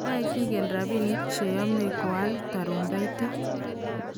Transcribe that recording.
noe kigen robinik che yamei koal tarumbetait